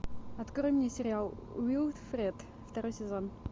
открой мне сериал уилфред второй сезон